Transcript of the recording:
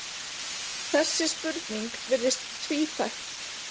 Þessi spurning virðist tvíþætt.